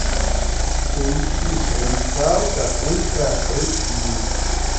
поищи провинциалка ультра эйч ди